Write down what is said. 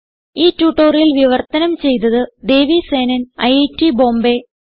ഈ ട്യൂട്ടോറിയൽ വിവർത്തനം ചെയ്തത് ദേവി സേനൻ ഐറ്റ് ബോംബേ